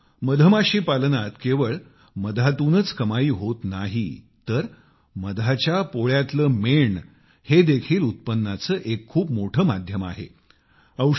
मित्रानो मधमाशी पालनात केवळ मधातूनच कमाई होत नाही तर मधाच्या पोळ्यातले मेण हे देखील उत्पन्नाचे एक खूप मोठे माध्यम आहे